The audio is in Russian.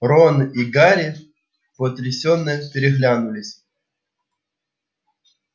рон и гарри потрясенно переглянулись